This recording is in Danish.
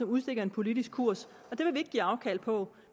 udstikkes en politisk kurs det vil vi ikke give afkald på